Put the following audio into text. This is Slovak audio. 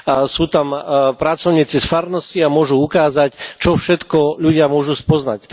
Sú tam pracovníci z farnosti a môžu ukázať, čo všetko ľudia môžu spoznať.